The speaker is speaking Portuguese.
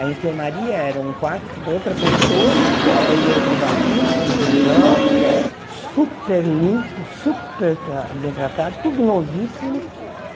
A enfermaria era um quarto com outra pessoa, banheiro privativo, televisão, super limpo, super tra bem tratado, tudo novíssimo.